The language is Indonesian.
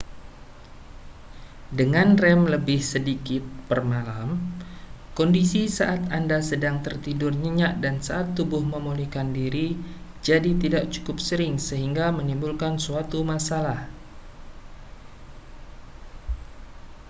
dengan rem lebih sedikit per malam kondisi saat anda sedang tertidur nyenyak dan saat tubuh memulihkan diri jadi tidak cukup sering sehingga menimbulkan suatu masalah